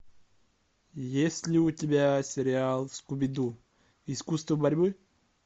есть ли у тебя сериал скуби ду искусство борьбы